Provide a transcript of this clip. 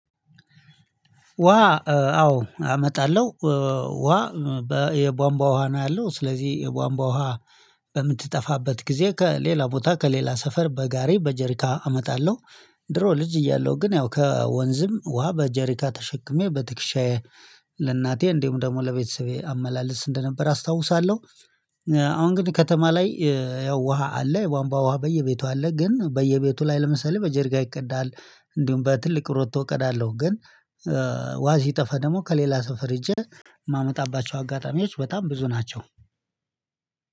ውሃ አዎ አመጣለሁ ውሃ የቧንቧ ውሃ ነው ያለው ስለዚህ የቧንቧ ውሃ በምትጠፋበት ጊዜ ከሌላ ቦታ ከሌላ ሰፈር በጋሪ በጀሪካን አመጣለሁ። ድሮ ልጅ እያለሁ ግን ያው ከወንዝም ውሃ በጀሪካ ተሸክሜ በትክሻዬ ለእናቴ እንዲሁ ደግሞ ለቤተሰቤ አመላለስ እንደነበር አስታውሳለሁ። አሁን ግን ከተማ ላይ ያው ውሃ አለ የቧንባ ውሃ በየቤቱ አለ። ግን በየቤቱ ላይ ለምሳሌ በጀሪካን ይቀዳል እንዲሁም በትልቅ ሮቶ እቀዳለሁ። ግን ውሃ ሲጠፋ ደግሞ ከሌላ ሰፈር ሄጄ የማመጣባቸው አጋጣሚዎች በጣም ብዙ ናቸው።